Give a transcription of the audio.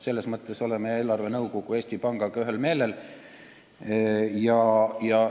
Selles mõttes oleme eelarvenõukogu ja Eesti Pangaga ühel meelel.